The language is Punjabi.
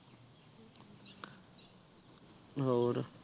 ਹੋਰ